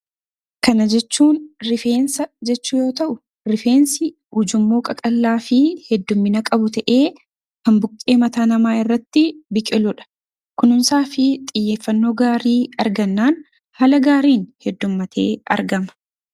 Kana jechuun rifeensa jechuu yoo ta'u rifeensi ujummoo qaqallaa fi hedduumina qabu ta'ee kan buqqee mataa namaa irratti biqiluudha. Kunuunsaa fi xiyyeeffannoo gaarii argannaan haala gaariin heddummatee argama.